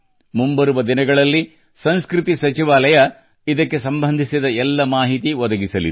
ಮುಂಬರುವ ದಿನಗಳಲ್ಲಿ ಸಂಸ್ಕೃತಿ ಸಚಿವಾಲಯ ಇದಕ್ಕೆ ಸಂಬಂಧಿಸಿದ ಎಲ್ಲ ಮಾಹಿತಿ ಒದಗಿಸಲಿದೆ